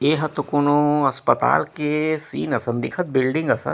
एहा तो कोनो अस्पताल के सीन आसन दिखत बिल्डिंग असन--